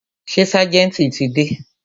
Ṣé ságẹ̀ntì ti dé?